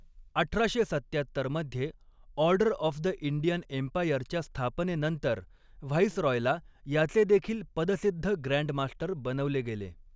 अठराशे सत्त्यात्तर मध्ये ऑर्डर ऑफ द इंडियन एम्पायरच्या स्थापनेनंतर व्हाईसरॉयला याचे देखील पदसिद्ध ग्रँड मास्टर बनवले गेले.